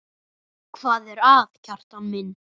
Hvað er að, Kjartan minn?